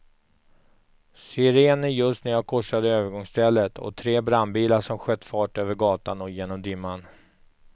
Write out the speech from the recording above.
Sirener just när jag korsade övergångsstället, och tre brandbilar som sköt fart över gatan och genom dimman.